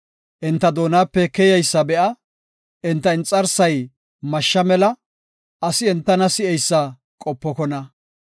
Enta doonape keyeysa be7a; enta inxarsay mashsha mela; asi entana si7eysa qopokona.